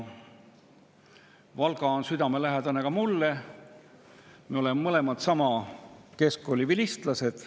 Valga on südamelähedane ka mulle, me oleme mõlemad sama keskkooli vilistlased.